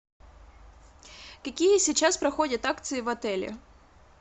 какие сейчас проходят акции в отеле